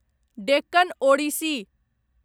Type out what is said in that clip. Deccan Odissi